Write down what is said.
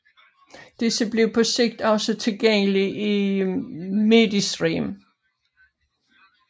Disse bliver på sigt også tilgængelige i Mediestream